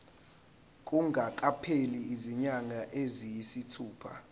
kungakapheli izinyanga eziyisithupha